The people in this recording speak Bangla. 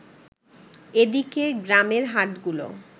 এদিকে, গ্রামের হাটগুলো